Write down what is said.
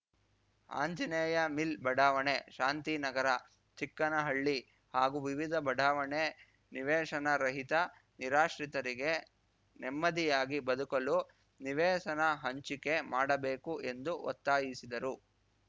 Anjaneya mill ಬಡಾವಣೆ ಶಾಂತಿನಗರ ಚಿಕ್ಕನಹಳ್ಳಿ ಹಾಗೂ ವಿವಿಧ ಬಡಾವಣೆ ನಿವೇಶನ ರಹಿತ ನಿರಾಶ್ರಿತರಿಗೆ ನೆಮ್ಮದಿಯಾಗಿ ಬದುಕಲು ನಿವೇಸನ ಹಂಚಿಕೆ ಮಾಡಬೇಕು ಎಂದು ಒತ್ತಾಯಿಸಿದರು